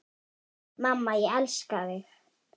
Mamma, ég elska þig.